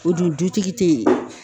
O dun dutigi te yen